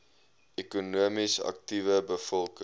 ekonomies aktiewe bevolking